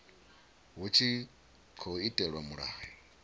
hu tshi tkhou itelwa mulayo